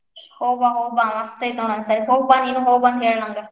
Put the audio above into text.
ಹೋಗಿ ಬಾ ಹೋಗಿ ಬಾ ಮಸ್ತ್ ಐತಿ ನೋಡ್ ಒಂದ್ ಸಾರಿ ಹೋಗಿ ಬಾ ಹೋಗಿ ಬಂದ್ ಹೇಳ್ ನಂಗ.